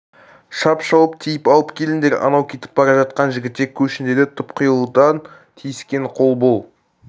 шап шауып тиіп алып келіңдер анау кетіп бара жатқан жігітек көшін деді тұтқиылдан тиіскен қол бұл